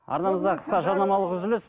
арнамызда қысқа жарнамалық үзіліс